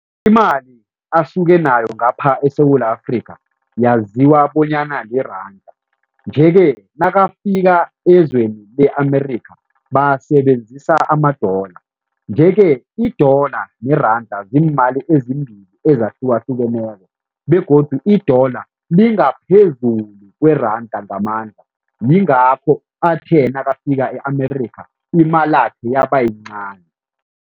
Imali asuke nayo ngapha eSewula Afrika yaziwa bonyana liranda nje-ke nakafika ezweni le-America basebenzisa ama-dollar nje-ke i-dollar neranda ziimali ezimbili ezahlukahlukeneko begodu i-dollar lingaphezulu kweranda ngamandla, yingakho athe nakafika e-America imalakhe yaba yincani.